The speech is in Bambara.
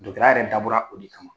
Dɔtɔrɔya yɛrɛ dabɔra o de kama.